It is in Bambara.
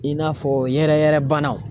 I n'a fɔ yɛrɛyɛrɛbanaw.